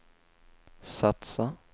satsa